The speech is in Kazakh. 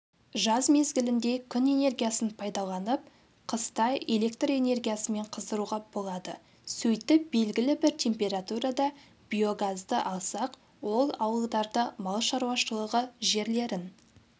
жаз мезгілінде күн энергиясын пайдаланып қыста электр энергиясымен қыздыруға болады сөйтіп белгілі бір температурада биогазды алсақ ол ауылдарды мал шаруашылығы жерлерін